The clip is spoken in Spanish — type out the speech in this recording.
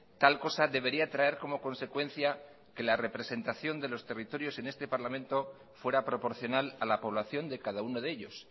tal cosa debería traer como consecuencia que la representación de los territorios en este parlamento fuera proporcional a la población de cada uno de ellos